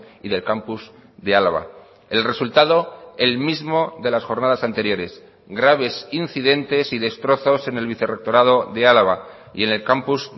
y del campus de álava el resultado el mismo de las jornadas anteriores graves incidentes y destrozos en el vicerrectorado de álava y en el campus